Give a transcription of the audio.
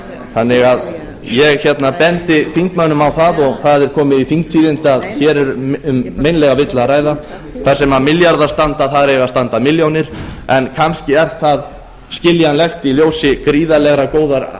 þannig að ég bendi þingmönnum á það og það er komið í þingtíðindi að hér er um meinlega villu að ræða þar þar sem milljarðar standa eiga að standa milljónir en kannski er það skiljanlegt í ljósi gríðarlega